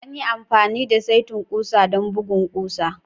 An yi amfani da saitin ƙusa don bugun ƙusa.